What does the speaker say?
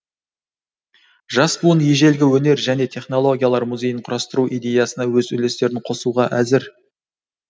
жас буын ежелгі өнер және технологиялар музейін құрастыру идеясына өз үлестерін қосуға әзір